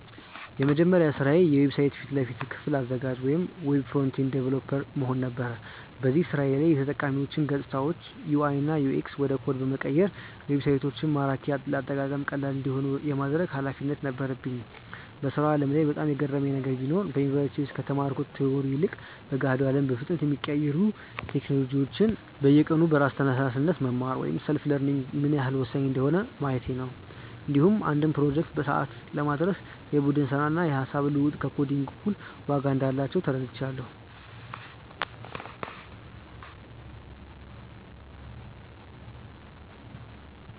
የመጀመሪያ ስራዬ የዌብሳይት ፊት ለፊት ክፍል አዘጋጅ (Web Front-End Developer) መሆን ነበር። በዚህ ስራዬ ላይ የተጠቃሚዎችን ገፅታዎች (UI/UX) ወደ ኮድ በመቀየር ዌብሳይቶች ማራኪና ለአጠቃቀም ቀላል እንዲሆኑ የማድረግ ኃላፊነት ነበረኝ። በስራው ዓለም ላይ በጣም የገረመኝ ነገር ቢኖር፣ በዩኒቨርሲቲ ውስጥ ከተማርኩት ቲዎሪ ይልቅ በገሃዱ አለም በፍጥነት የሚቀያየሩ ቴክኖሎጂዎችን በየቀኑ በራስ ተነሳሽነት መማር (Self-learning) ምን ያህል ወሳኝ እንደሆነ ማየቴ ነው። እንዲሁም አንድን ፕሮጀክት በሰዓቱ ለማድረስ የቡድን ስራና የሃሳብ ልውውጥ ከኮዲንግ እኩል ዋጋ እንዳላቸው ተረድቻለሁ።